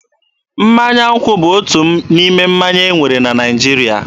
Mmanya nkwụ bụ otu n'ime mmanya e nwere na Naịjirịa.